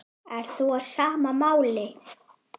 Ert þú á sama máli?